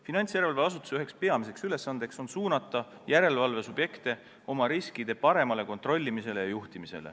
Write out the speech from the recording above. Finantsjärelevalve asutuse peamisi ülesandeid on suunata järelevalvesubjekte oma riske paremini kontrollima ja juhtima.